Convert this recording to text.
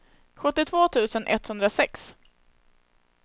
sjuttiotvå tusen etthundrasex